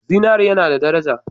Zinare yana da daraja.